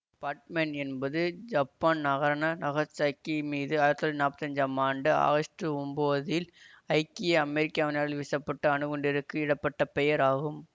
பாட் Man என்பது Japan நகரான Nagasaki மீது ஆயிர தொள்ளாயிர நாற்பத்தஞ்சாம் ஐந்து ஆம் ஆண்டு ஆகஸ்ட் ஒம்போதில் ஐக்கிய அமெரிக்காவினால் வீசப்பட்ட அணுகுண்டிற்கு இடப்பட்ட பெயர் ஆகும்